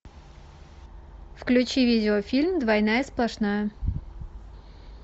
включи видеофильм двойная сплошная